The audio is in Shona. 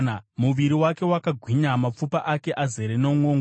muviri wake wakagwinya, mapfupa ake azere nomwongo.